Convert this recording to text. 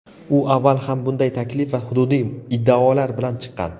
U avval ham bunday taklif va hududiy iddaolar bilan chiqqan.